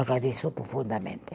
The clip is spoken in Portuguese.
agradeço profundamente.